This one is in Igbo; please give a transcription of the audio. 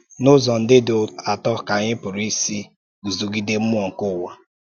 N’ụzọ ndị dị atọ ka anyị pụrụ isi guzogide mmụọ nke ụwa?